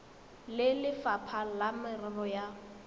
le lefapha la merero ya